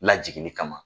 Lajigin kama